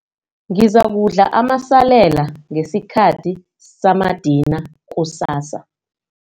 Ngizakudla amasalela ngesikhathi samadina kusasa.